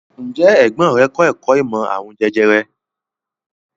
Ǹjẹ́ ẹ̀gbọ́n rẹ̀ kọ́ ẹ̀kọ́ ìmọ̀ àrùn jẹjẹrẹ?